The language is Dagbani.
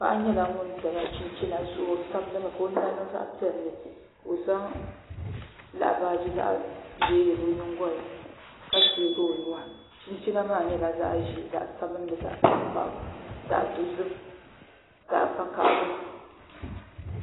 Paɣa nyɛla ŋun do chinchina zuɣu o sabigimi ka o nyina niŋ zaɣ piɛlli ka o zaŋ laɣa baaji zaɣ ʒiɛ yili o nyingolini ka tiɛgi o nuwa chinchina maa nyɛla zaɣ ʒiɛ zaɣ sabinli zaɣ tankpaɣu zaɣ dozim zaɣ vakaɣali